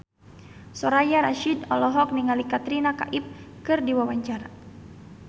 Soraya Rasyid olohok ningali Katrina Kaif keur diwawancara